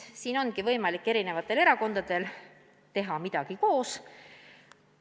Siin ongi võimalik eri erakondadel midagi koos teha.